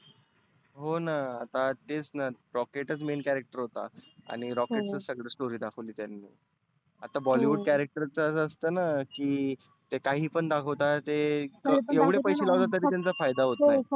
होना आता तेच ना rocket चं main character होता. आणि rocket ची सगळी story दाखवली त्यांनी. आता bollywood character चं असतं ना की ते काही पण दाखवता ते. एवढे पैसे लावता तरी त्यांचा फायदा होत नाही.